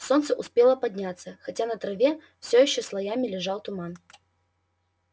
солнце успело подняться хотя на траве все ещё слоями лежал туман